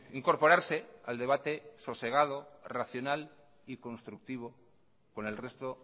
incorporarse al debate sosegado racional y constructivo con el resto